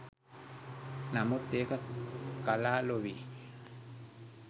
නමුත් ඒක කලා ලොවේ